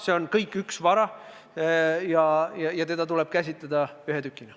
See on kõik üks vara ja seda tuleb käsitleda ühe tükina.